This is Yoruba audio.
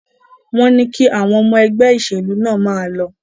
Wọn ní kí àwọn ọmọ ẹgbẹ́ ìṣèlú náà máa lọ?